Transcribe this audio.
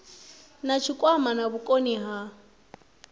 na tshikwama na vhukoni ha